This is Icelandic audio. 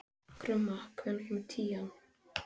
Sophia, viltu hoppa með mér?